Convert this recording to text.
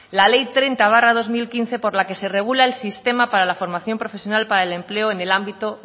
la ley treinta barra dos mil quince por la que se regula el sistema para la formación profesional para el empleo en el ámbito